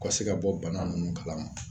Ka se ka bɔ bana ninnu kalama